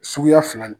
Suguya fila de